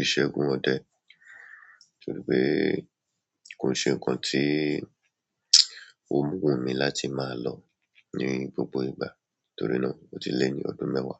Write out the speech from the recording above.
ìṣẹ́gun òde torí pé kò ṣe nǹkan tí ó wú mi láti máa lọ ní gbogbo ìgbà torí náà ó ti lé ní ọdún mẹ́wàá.